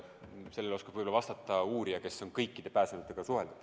Sellele oskab ehk vastata uurija, kes on kõikide pääsenutega suhelnud.